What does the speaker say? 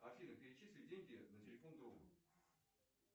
афина перечисли деньги на телефон другу